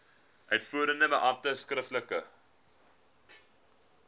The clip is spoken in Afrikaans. uitvoerende beampte skriftelik